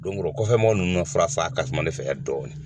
Donkɔrɔ kɔfɛmɔgɔ ninnu ka fura san ka suma ne fɛ yan dɔɔnin.